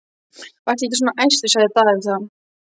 Vertu ekki svona æstur, sagði Daði þá.